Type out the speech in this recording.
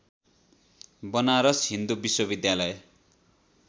बनारस हिन्दु विश्वविद्यालय